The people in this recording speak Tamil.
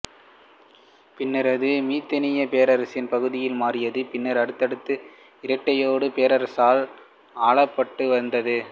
பின்னர் அது மித்தானிய பேரரசின் பகுதியாக மாறியது பின்னர் அடுத்தடுத்து இட்டைட்டு பேரரசால் ஆளப்பட்டு வந்தது